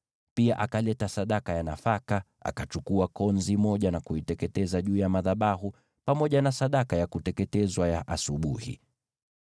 Pia akaleta sadaka ya nafaka, akachukua konzi moja na kuiteketeza juu ya madhabahu, pamoja na sadaka ya kuteketezwa ya asubuhi.